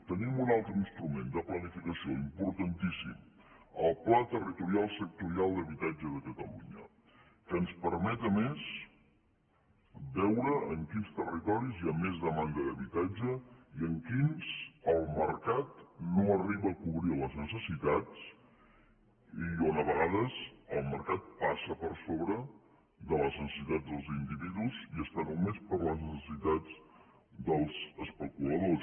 tenim un altre instrument de planificació importantíssim el pla territorial sectorial d’habitatge de catalunya que ens permet a més veure en quins territoris hi ha més demanda d’habitatge i en quins el mercat no arriba a cobrir les necessitats i on a vegades el mercat passa per sobre de les necessitats dels individus i està només per a les necessitats dels especuladors